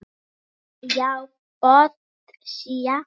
Já, botsía.